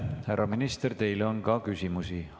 Härra minister, teile on ka küsimusi.